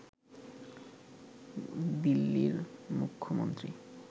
দিল্লির মুখ্যমন্ত্রী